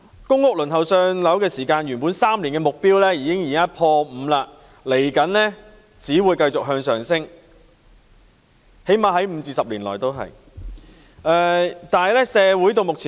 公屋輪候3年"上樓"的目標已經"破 5"， 輪候時間未來只會繼續向上升——最低限度在未來5至10年也會如是。